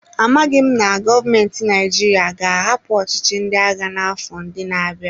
Amaghị m na gọọmentị Naịjirịa ga-ahapụ ọchịchị ndị agha n'afọ ndị na-abịa.